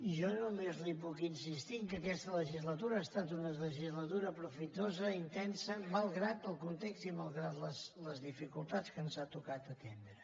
jo només li puc insistir que aquesta legislatura ha estat una legislatura profitosa intensa malgrat el context i malgrat les dificultats que ens ha tocat atendre